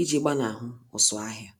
iji gbanahụ ụsụ-ahịa.